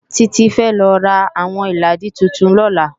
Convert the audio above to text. Titi fè rá áwòn ilàádí tútún lòlá